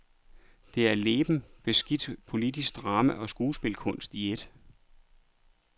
Det er leben, beskidt politisk drama og skuespilkunst i eet.